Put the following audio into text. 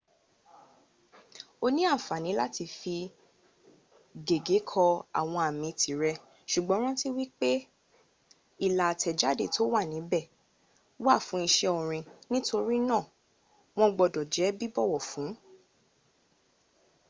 o ní àǹfànní láti fi gègé kọ àwọn àmì tìrẹ sùgbọ́n rántí wípé ìlà àtẹ̀jáde tó wà níbẹ̀ wà fún iṣẹ́ orin nítorínà wọ́n gbọ́dọ̀ jẹ́ bíbọ̀wọ̀ fún